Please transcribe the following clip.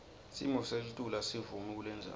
simoselitulu asivumi kulendzawo